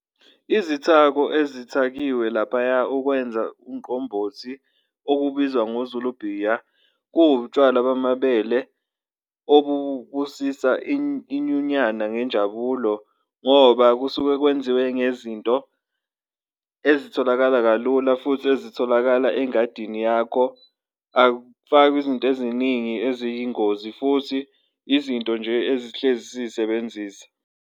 Izithako ezithakiwe laphaya ukwenza umqombothi okubizwa ngoZulu bhiya, kuwutshwalwa bamabele obubusisa inyunyana ngenjabulo ngoba kusuke kwenziwe ngezinto ezitholakala kalula futhi ezitholakala engadini yakho. Akufakwa izinto eziningi eziyingozi futhi izinto nje ezihlezi sisebenzisa.